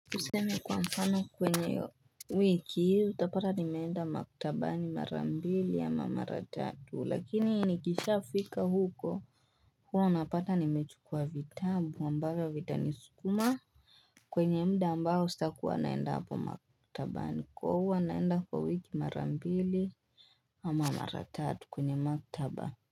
Tuseme kwa mfano kwenye wiki hizi utapata nimeenda maktabani mara mbili ama mara tatu lakini nikishafika huko huwa unapata nimechukua vitabu ambavyo vitanisukuma kwenye muda ambao sitakuwa naenda hapo maktabani kwa huwa naenda kwa wiki mara mbili ama mara tatu kwenye maktaba.